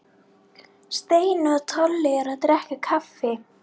Steini og Tolli eru að drekka kaffi.